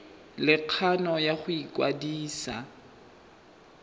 le kgano ya go ikwadisa